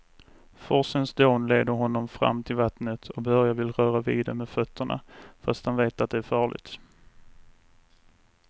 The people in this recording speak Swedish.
Forsens dån leder honom fram till vattnet och Börje vill röra vid det med fötterna, fast han vet att det är farligt.